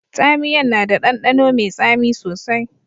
Tsamiyan na da dandano mai tsami sosai.